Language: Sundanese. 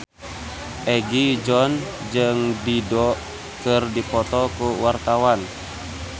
Egi John jeung Dido keur dipoto ku wartawan